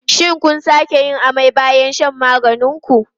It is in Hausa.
Shin kun sake yin amai bayan shan maganin ku?